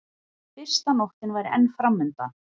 Fyrsta nóttin væri enn framundan.